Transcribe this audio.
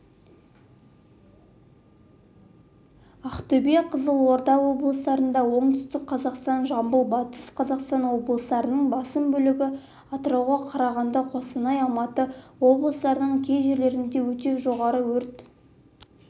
ақтөбе қызылорда облыстарында оңтүстік қазақстан жамбыл батыс қазақстан облыстарының басым бөлігінде атырау қарағанды қостанай алматы облыстарының кей жерлерінде өте жоғары өрт